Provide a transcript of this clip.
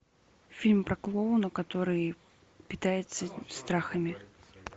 фильм про клоуна который питается страхами